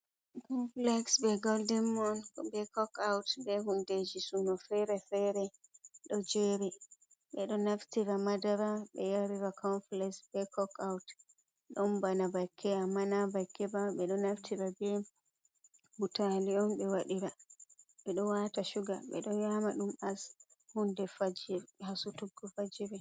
Confiles be goldin moon, be cok aut be hundeji suuno fere-fere do jer. Bedo naftira madara be yarira confiles. Cok out don bana bakke ammana nabakke ba bedo naftira be butalion be wadira. bedo wata shuga bedo yama dum as hunde hasutuggo fajiri.